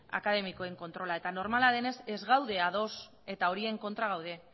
akademikoen kontrola eta normala denez ez gaude ados eta horien kontra gaude